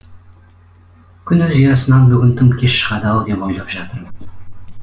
күн өз ұясынан бүгін тым кеш шығады ау деп ойлап жатырмын